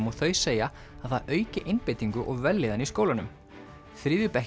og þau segja að það auki einbeitingu og vellíðan í skólanum